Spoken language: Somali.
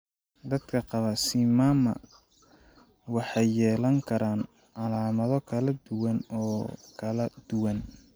Dadka qaba CMAMMA waxay yeelan karaan calaamado kala duwan oo kala duwan.